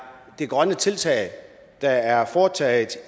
de grønne tiltag der er foretaget